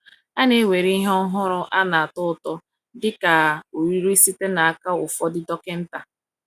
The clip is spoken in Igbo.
A na-ewere ihe ọhụrụ a na-atọ ụtọ dị ka ọrịrịrị site n’aka ụfọdụ dọkịta.